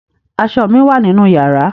Aṣọ mi wà nínú yàrá.